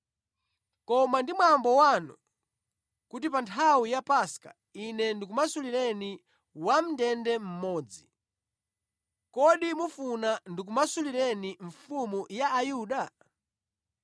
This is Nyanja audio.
Koma ndi mwambo wanu kuti pa nthawi ya Paska, ine ndikumasulireni wamʼndende mmodzi. Kodi mufuna ndikumasulireni ‘Mfumu ya Ayuda?’ ”